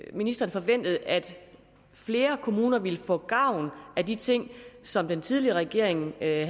at ministeren forventede at flere kommuner ville få gavn af de ting som den tidligere regering havde